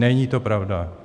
Není to pravda.